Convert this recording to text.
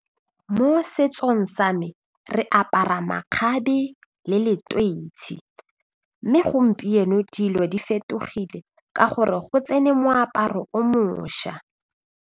Mo setsong sa me re apara makgabe le mme gompieno dilo di fetogile ka gore go tsene moaparo o mošwa.